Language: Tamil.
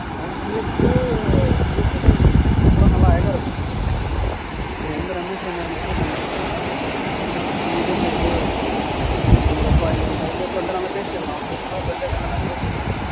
அவன் GFGF வந்து super ஆ நல்லா அழகா இருக்கும். இவன் வந்து ரமேஷ் வந்து message பண்ணி சொல்லினுக்கறான் இது மாதிரி நீங்க ரொம்ப அழகா இருக்கீங்க அது மாதிரி friend ஆ நல்லா பேசிட்டு இருக்கான் அவனுக்கு நல்லா தெரியும்போல friend ஆயிட்டு நல்லா பேசிட்டு இருக்கான்